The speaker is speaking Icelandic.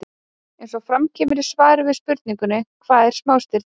Eins og fram kemur í svari við spurningunni Hvað eru smástirni?